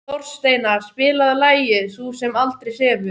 Þorsteina, spilaðu lagið „Sú sem aldrei sefur“.